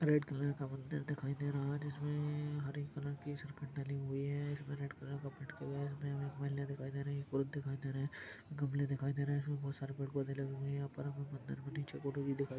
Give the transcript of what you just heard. red colour का मंदिर दिखाई दे रहा है जिसमें हरे कलर की डली हुई है रेड कलर का पट लगा है यहाँ हमें एक महिला दिखाई दे रही है पुरूष दिखाई दे रहे है गमले दिखाई दे रहे है इसमें बहुत सारे पेड़ पौधे लगे हुए है यहाँ पर हमें मंदिर के निचे फोटो भी दिखाई --